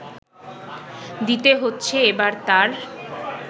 দিতে হচ্ছে এবার তার